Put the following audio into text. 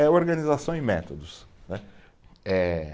É organização em métodos, né. Eh